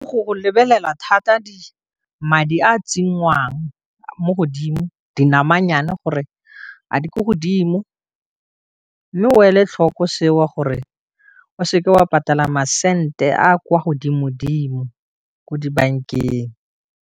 Go lebelela thata di madi a tsenngwang mo godimo di nama nnyane gore a di ko godimo, mme o e le tlhoko seo, gore o seke wa patala masente a kwa godimo dimo ko dibankeng.